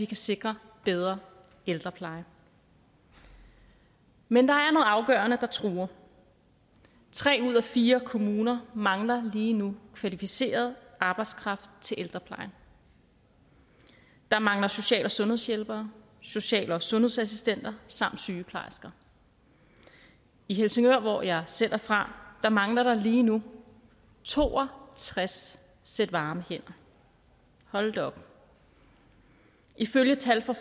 kan sikre bedre ældrepleje men der er noget afgørende der truer tre ud af fire kommuner mangler lige nu kvalificeret arbejdskraft til ældreplejen der mangler social og sundhedshjælpere social og sundhedsassistenter samt sygeplejersker i helsingør hvor jeg selv er fra mangler der lige nu to og tres sæt varme hænder hold da op ifølge tal fra